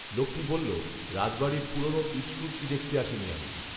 লোকটি বলল, "রাজবাড়ির পুরোনো ইট সুরকি দেখতে আসিনি আমি।"